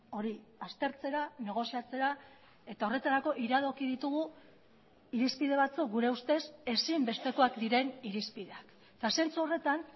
hori aztertzera negoziatzera eta horretarako iradoki ditugu irizpide batzuk gure ustez ezinbestekoak diren irizpideak eta zentzu horretan